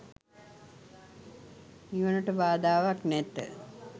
නිවනට බාධාවක් නැත.